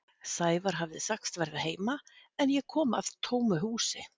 Sævar hafði sagst verða heima en ég kom að tómu húsi.